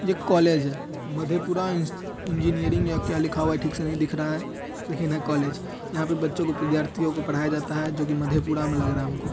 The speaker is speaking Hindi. यह कॉलेज हैं। मधेपुरा इन्स इंजीनियरिंग या क्या लिखा हुआ हैं ठीक से नही दिख रहा हैं। लेकिन हैं कॉलेज यहां पर बच्चो को विद्यार्थीओ को पढ़ाया जाता हैं जो की मधेपुरा मे लग रहा हैं हमको।